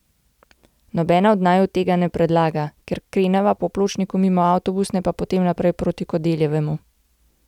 Nobena od naju tega ne predlaga, kar kreneva po pločniku mimo avtobusne pa potem naprej proti Kodeljevemu.